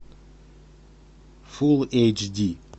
фул эйч ди